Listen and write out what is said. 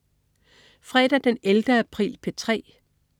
Fredag den 11. april - P3: